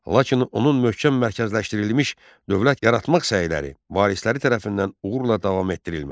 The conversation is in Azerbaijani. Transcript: Lakin onun möhkəm mərkəzləşdirilmiş dövlət yaratmaq səyləri varisləri tərəfindən uğurla davam etdirilmədi.